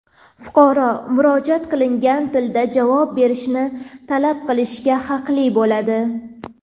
Fuqaro murojaat qilingan tilda javob berishni talab qilishga haqli bo‘ladi.